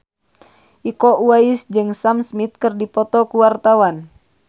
Iko Uwais jeung Sam Smith keur dipoto ku wartawan